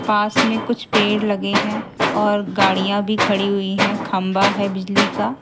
पास में कुछ पेड़ लगे हैं और गाड़ियां भी खड़ी हुई हैं खंबा है बिजली का।